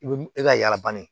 I bɛ e ka yala banni